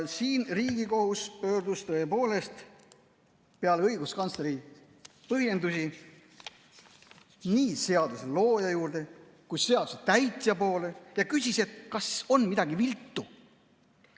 Siin Riigikohus pöördus tõepoolest peale õiguskantsleri põhjendusi nii seaduse looja kui ka seaduse täitja poole ja küsis, kas on midagi viltu.